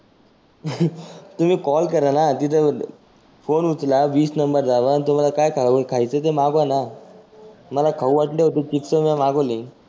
तुम्ही कॉल कराना तीथं फोन उचला विस नंबर आणि तुम्हाला काय खाउ खायचं ते मागवाना. मला खाऊ वाटल होती मिसळ मी मागवली.